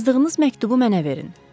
Yazdığınız məktubu mənə verin.